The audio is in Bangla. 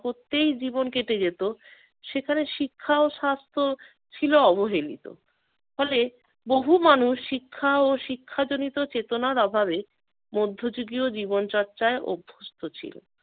করতেই জীবন কেটে যেত সেখানে শিক্ষা ও স্বাস্থ্য ছিল অবহেলিত। ফলে বহু মানুষ শিক্ষা ও শিক্ষা জনিত চেতনার অভাবে মধ্যযুগীয় জীবনচর্চায় অভ্যস্ত ছিল।